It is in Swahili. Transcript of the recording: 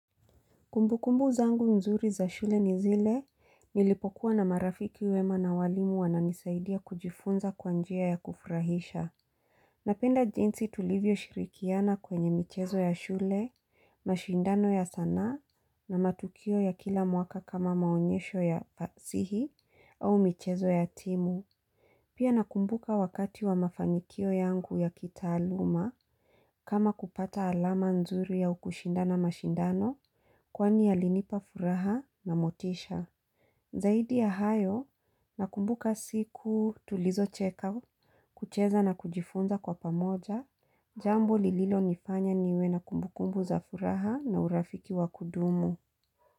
Kumbukumbu zangu mzuri za shule ni zile, nilipokuwa na marafiki wema na walimu wananisaidia kujifunza kwa njia ya kufurahisha. Napenda jinsi tulivyo shirikiana kwenye michezo ya shule, mashindano ya sanaa na matukio ya kila mwaka kama maonyesho ya fasihi au michezo ya timu. Pia nakumbuka wakati wa mafanikio yangu ya kitaaluma kama kupata alama nzuri ya ukushinda na mashindano kwani yalinipa furaha na motisha. Zaidi ya hayo nakumbuka siku tulizo check-out kucheza na kujifunza kwa pamoja jambo lililo nifanya niwe nakumbukumbu za furaha na urafiki wa kudumu.